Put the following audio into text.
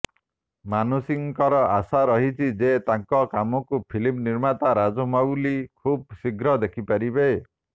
ମାନୁଷୀଙ୍କର ଆଶା ରହିଛି ଯେ ତାଙ୍କ କାମକୁ ଫିଲ୍ମ ନିର୍ମାତା ରାଜମୌଲି ଖୁବ୍ ଶୀଘ୍ର ଦେଖିପାରିବେ